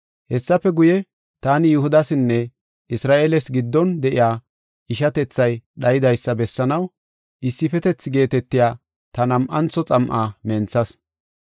Hessafe guye, taani Yihudasinne Isra7eeles giddon de7iya ishatethay dhayidaysa bessanaw “Issifetethi” geetetiya ta nam7antho xam7aa menthas.